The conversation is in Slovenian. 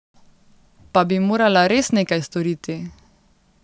Pa bi morala res nekaj storiti.